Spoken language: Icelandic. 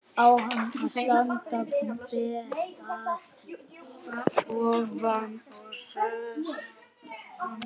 Á hann að standa ber að ofan og öskra menn áfram?